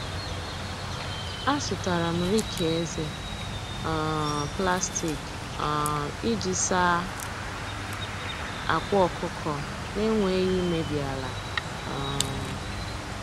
Azụtara m riki eze um plastik um iji saa akwa ọkụkọ na-enweghị imebi ala. um